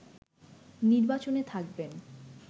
নির্বাচনে থাকবেন